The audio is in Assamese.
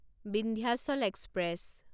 বিন্ধ্যাচল এক্সপ্ৰেছ